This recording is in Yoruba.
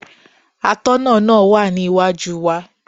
Atọ́nà náà wà ní iwájú wa.